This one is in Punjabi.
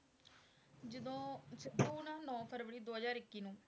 ਜਦੋਂ ਸਿੱਧੂ ਨਾ ਨੋਂ ਫਰਵਰੀ ਦੋ ਹਜ਼ਾਰ ਇੱਕੀ ਨੂੰ,